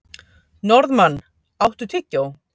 Norðmann, áttu tyggjó?